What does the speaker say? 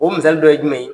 O misali dɔ ye jumɛn ye